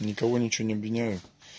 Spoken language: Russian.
никого ничего не обвиняю